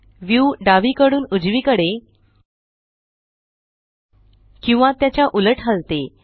view डावीकडून उजवीकडे किंवा त्याच्या उलट हलते